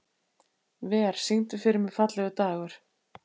Ver, syngdu fyrir mig „Fallegur dagur“.